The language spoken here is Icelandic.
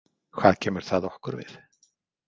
Hvað kemur það okkur við?